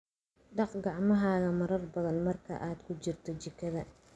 Dhaq gacmahaaga marar badan marka aad ku jirto jikada.